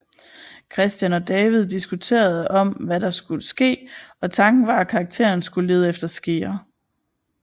Christian og David diskuterede om hvad der skulle ske og tanken var at karakteren skulle lede efter skeer